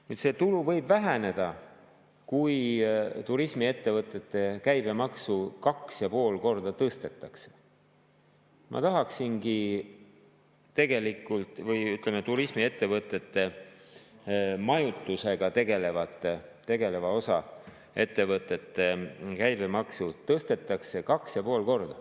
Nüüd võib see tulu väheneda, kui turismiettevõtete käibemaksu 2,5 korda tõstetakse, või ütleme, turismiettevõtete majutusega tegeleva osa, nende ettevõtete käibemaksu tõstetakse 2,5 korda.